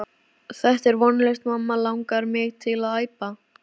Þetta er vonlaust mamma langar mig til að æpa.